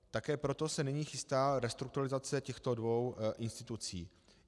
Také proto se nyní chystá restrukturalizace těchto dvou institucí.